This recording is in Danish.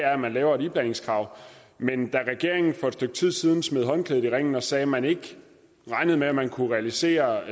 at man laver et iblandingskrav men da regeringen for et stykke tid siden smed håndklædet i ringen og sagde at man ikke regnede med at man kunne realisere